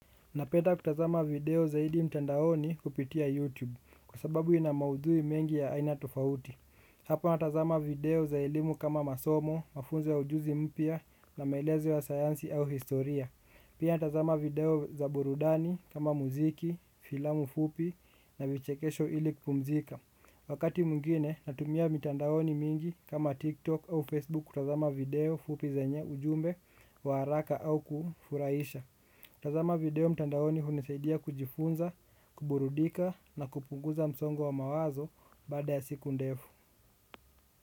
Napenda kutazama video zaidi mtandaoni kupitia YouTube kwa sababu ina maudhui mengi ya aina tofauti. Hapa natazama video za elimu kama masomo, mafunzo ya ujuzi mpya na maelezo ya sayansi au historia. Pia natazama video za burudani kama muziki, filamu fupi na vichekesho ili kupumzika. Wakati mwingine natumia mitandaoni mingi kama TikTok au Facebook kutazama video fupi zenye ujumbe wa haraka au kufurahisha. Tazama video mtandaoni hunisaidia kujifunza, kuburudika na kupunguza msongo wa mawazo baada ya siku ndefu.